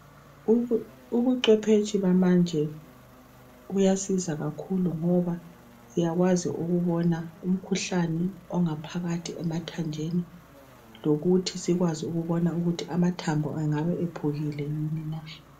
Ubucwephetshi bamanje buyasiza kakhulu ngoba siyakwazi ukubona umkhuhlane ongaphakathi emathanjeni, lokuthi sikwazi ukubona ukuthi amathambo engabe ephukile yini na.